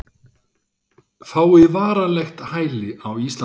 Fái varanlegt hæli á Íslandi